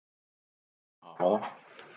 Ég lét mig hafa það.